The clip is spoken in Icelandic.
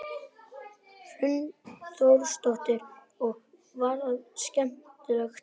Hrund Þórsdóttir: Og var það skemmtilegt?